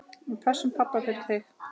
Við pössum pabba fyrir þig.